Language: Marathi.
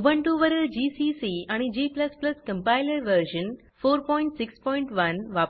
उबुंटु वरील जीसीसी आणि g कंपाइलर व्हर्शन 461